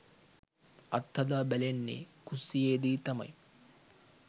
අත්හදා බැලෙන්නේ කුස්සියේදී තමයි.